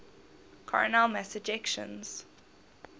coronal mass ejections